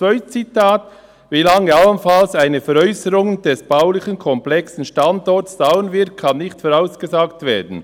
» Das zweite Zitat: «Wie lange allenfalls eine Veräusserung des baulich komplexen Standorts dauern wird, kann nicht vorausgesagt werden.